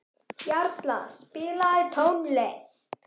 Jarla, spilaðu tónlist.